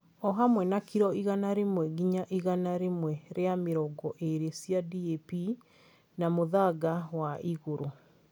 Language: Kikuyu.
O hamwe na kiro igana rĩmwe nginya igana rĩmwe rĩa mĩrongo ĩrĩ cia DAP na mũthanga wa igũrũ.